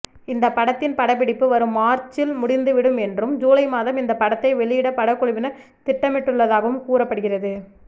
இந்த படத்தின் படப்பிடிப்பு வரும் மார்ச்சில்ல் முடிந்துவிடும் என்றும் ஜூலை மாதம் இந்த படத்தை வெளியிட படக்குழுவினர் திட்டமிட்டுள்ளதாகவும் கூறப்படுகிறது